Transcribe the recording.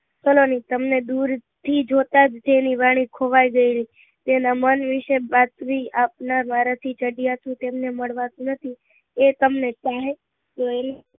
સલોની તમને દુર થી જોતા જ જેની વાણી ખોવાઈ ગયેલી તેના મન વિશે બાતમી આપનાર મારા થી ચડિયાતું તેમને મળવાતું નથી એ તમને ચાહે તો એ